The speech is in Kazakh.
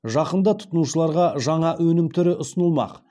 жақында тұтынушыларға жаңа өнім түрі ұсынылмақ